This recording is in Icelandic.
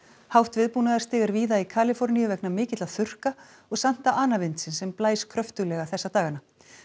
hátt viðbúnaðarstig er víða í Kaliforníu vegna mikilla þurrka og Santa ana vindsins sem blæs kröftuglega þessa dagana